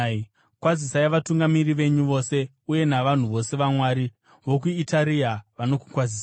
Kwazisai vatungamiri venyu vose uye navanhu vose vaMwari. VokuItaria vanokukwazisai.